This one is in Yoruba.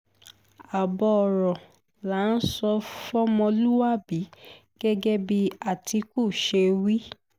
ààbọ̀ ọ̀rọ̀ là á sọ fọmọlúàbí gẹ́gẹ́ bí àtìkù ṣe wí